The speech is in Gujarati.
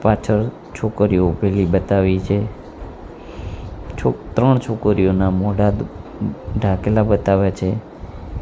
પાછળ છોકરીઓ ઊભેલી બતાવી છે છો ત્રણ છોકરીઓના મોઢા ઢાકેલા બતાવ્યા છે.